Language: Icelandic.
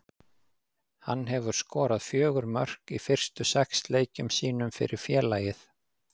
Hann hefur skorað fjögur mörk í fyrstu sex leikjunum sínum fyrir félagið.